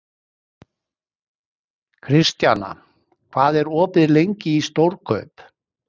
Kristjana, hvað er opið lengi í Stórkaup?